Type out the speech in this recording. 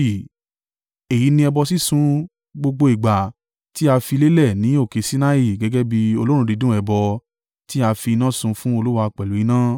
Èyí ni ẹbọ sísun gbogbo ìgbà tí a fi lélẹ̀ ní òkè Sinai gẹ́gẹ́ bí olóòórùn dídùn ẹbọ tí a fi iná sun fún Olúwa pẹ̀lú iná.